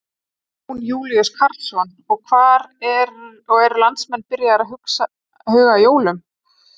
Jón Júlíus Karlsson: Og eru landsmenn byrjaðir að huga að jólunum?